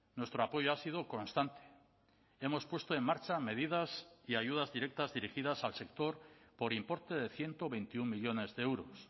nuestro apoyo ha sido constante hemos puesto en marcha medidas y ayudas directas dirigidas al sector por importe de ciento veintiuno millónes de euros